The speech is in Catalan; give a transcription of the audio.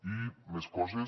i més coses